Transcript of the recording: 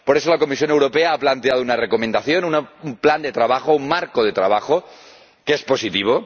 Por eso, la Comisión Europea ha planteado una recomendación, un plan de trabajo, un marco de trabajo que es positivo.